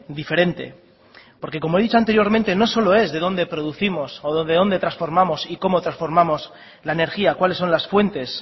diferente porque como he dicho anteriormente no solo es de dónde producimos o de dónde transformamos y cómo transformamos la energía cuáles son las fuentes